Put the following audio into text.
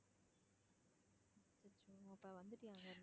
அச்சச்சோ அப்போ வந்துட்டியா அங்கிருந்து?